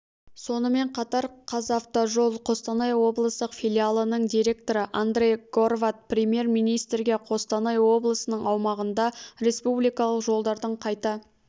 сонымен қатар қазавтожол қостанай облыстық филиалының директоры андрей горват премьер-министрге қостанай облысының аумағында республикалық жолдардың қайта